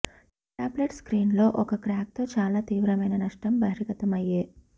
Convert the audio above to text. tablet screen లో ఒక crack తో చాలా తీవ్రమైన నష్టం బహిర్గతమయ్యే